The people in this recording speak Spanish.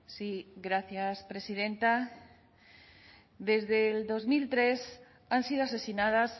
sí gracias presidenta desde dos mil tres han sido asesinadas